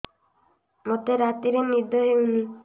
ମୋତେ ରାତିରେ ନିଦ ହେଉନି